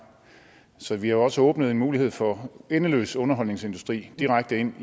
så vi har også åbnet en mulighed for endeløs underholdningsindustri direkte ind